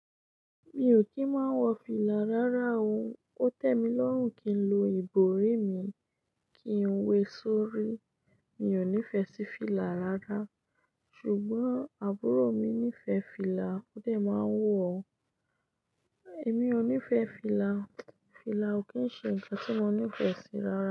Mi ò kí ń máa ń wọ fìlà rárá o. Ó tẹ́ mi lọ́rùn kí n lo ìbòrí mi kí n wé sórí. Mi ò nífẹ̀ẹ́ sí fìlà rárá. Ṣùgbọ́n àbúrò mi nífẹ̀ẹ́ fìlà, ó dẹ̀ máa ń wọ̀ o. Èmi ò nífẹ̀ẹ́ fìlà. Fìlà ò kí ń ṣe ǹkan tí mo nífẹ̀ẹ́ sí rárá.